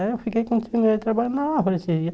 Aí eu fiquei continuei trabalhando na lavoura esses dias.